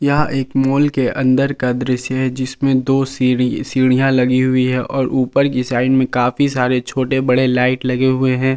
यह एक मॉल के अंदर का दृश्य है जिसमें दो सीढ़ी सीढ़ियां लगी हुई हैं और ऊपर की साइड में काफी सारे छोटे बड़े लाइट लगे हुए हैं।